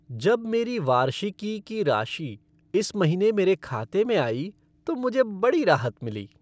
जब मेरी वार्षिकी की राशि इस महीने मेरे खाते में आई तो मुझे बड़ी राहत मिली।